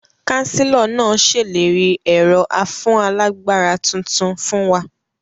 Kánsílọ̀ náà sèlérí ẹ̀rọ afúnálagbára tuntun fún wa